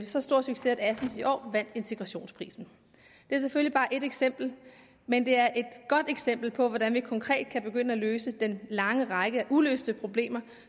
så stor succes at assens kommune i år vandt integrationsprisen det er selvfølgelig bare ét eksempel men det er et godt eksempel på hvordan vi konkret kan begynde at løse den lange række af uløste problemer